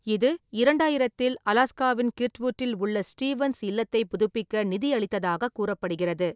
இது, இரண்டாயிரத்தில் அலாஸ்காவின் கிர்ட்வுட்டில் உள்ள ஸ்டீவன்ஸ் இல்லத்தைப் புதுப்பிக்க நிதியளித்ததாகக் கூறப்படுகிறது.